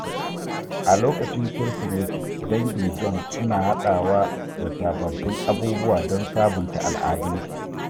A lokacin Kirsimeti, dangin John suna hadawa da sababbin abubuwa don sabunta al’adunsu.